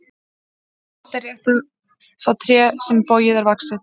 Bágt er rétta það tré sem bogið er vaxið.